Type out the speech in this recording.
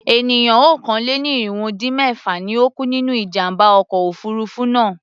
Ènìyàn okòó-lé-ní-irínwó-dín-mẹ́fà ni ó kú nínú ìjàm̀bá ọkọ̀ òfurufú náà.